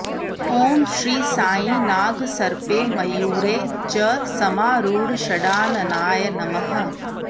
ॐ श्री साई नागसर्पे मयूरे च समारूढषडाननाय नमः